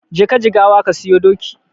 Jeka Jigawa ka siyo doki.